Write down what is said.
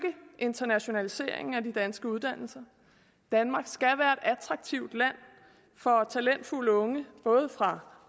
internationaliseringen af de danske uddannelser danmark skal være et attraktivt land for talentfulde unge fra